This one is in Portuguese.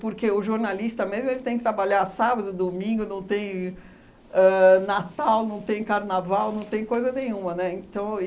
Porque o jornalista mesmo ele tem que trabalhar sábado, domingo, não tem ãh Natal, não tem Carnaval, não tem coisa nenhuma, né, então